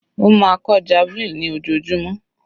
Ó máa kọ́ javelin ní ojoojúmọ́.